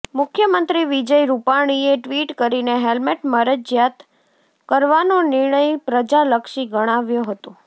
મુખ્યમંત્રી વિજય રૂપાણીએ ટ્વિટ કરીને હેલ્મેટ મરજિયાત કરવાનો નિર્ણય પ્રજાલક્ષી ગણાવ્યો હતો